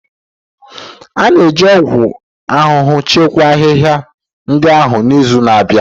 Anyị ga-eji ọgwụ ahụhụ chịkwaa ahịhịa ndị ahụ n'izu na-abịa.